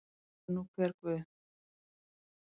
Sér er nú hver guð.